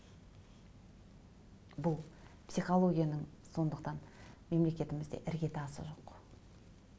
бұл психологияның сондықтан мемлекетімізде ірге тасы жоқ